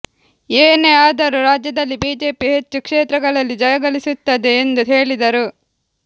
ಏನೇ ಆದರೂ ರಾಜ್ಯದಲ್ಲಿ ಬಿಜೆಪಿ ಹೆಚ್ಚು ಕ್ಷೇತ್ರಗಳಲ್ಲಿ ಜಯಗಳಿಸುತ್ತದೆ ಎಂದು ಹೇಳಿದರು